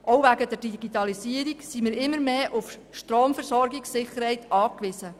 Auch wegen der Digitalisierung sind wir immer mehr auf die Stromversorgungssicherheit angewiesen.